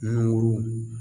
Nugurun